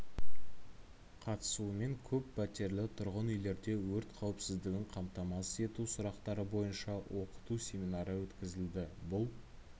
қатысуымен көп пәтерлі тұрғын үйлерде өрт қауіпсіздігін қамтамасыз ету сұрақтары бойынша оқыту семинары өткізілді бұл